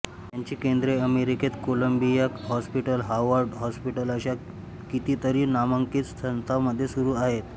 त्याची केंद्रे अमेरिकेत कोलंबिया हॉस्पिटल हार्वर्ड हॉस्पिटल अशा किती तरी नामांकित संस्थांमध्ये सुरू आहेत